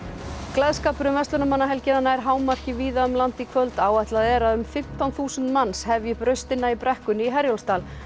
gleðskapur um verslunarmannahelgina nær hámarki víða um land í kvöld áætlað er að um fimmtán þúsund manns hefji upp raustina í brekkunni í Herjólfsdal